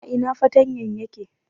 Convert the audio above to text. A ina fartanyan yake?